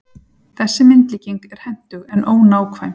Þessi myndlíking er hentug, en ónákvæm.